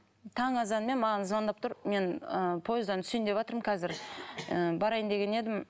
таң азанмен маған звондап тұр мен ы пойыздан түсейін деватырмын қазір ы барайын деген едім